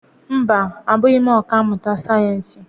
Mba, abụghị m ọkà mmụta sayensị.